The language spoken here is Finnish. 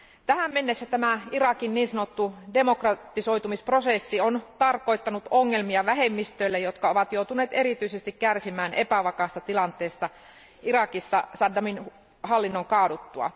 Tähän mennessä tämä Irakin niin sanottu demokratisoitumisprosessi on tarkoittanut ongelmia vähemmistöille, jotka ovat joutuneet erityisesti kärsimään epävakaasta tilanteesta Irakissa Saddamin hallinnon kaaduttua.